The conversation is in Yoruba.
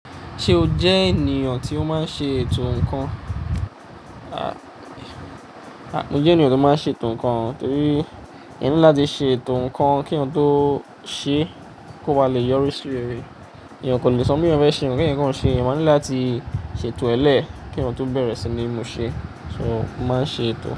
Ṣé o jẹ́ ènìyàn tí ó máa ń ṣe ètò ǹkan? A, mo jẹ́ ènìyàn tó máa ń ṣe ètò ǹkan torí èèyàn ní láti ṣe ètò ǹkan kí èèyàn tó ṣe kó bá lè yọrí sí réré. Èèyàn kan le sọ pe ohun fẹ́ ṣe nkan keeyan kan ṣe. Èèyàn máa ń ní láti ṣe ètò ẹ lẹ́ẹ̀ kí èèyàn tó bẹ̀rẹ̀ sí ní mú ṣé, so mo máa ń ṣe ètò.